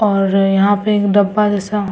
और यहाँ पे एक डब्बा जैसा --